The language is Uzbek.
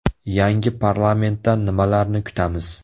Yangi parlamentdan nimalarni kutamiz?